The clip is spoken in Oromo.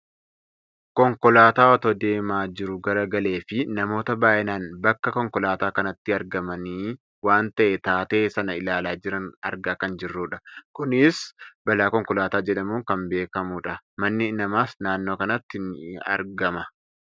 Konkolaataa otoo deemaa jiruu galagaleefi namoota baayyinaaan bakka Konkolaataa kanaatti argamanii waan ta'e taatee sana ilaalaa jiran argaa kan jirrudha. Kunis balaa Konkolaataa jedhamuun kan beekkamudha. Manni namaas naannoo kanatti ni argama.